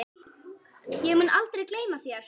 Ég mun aldrei gleyma þér.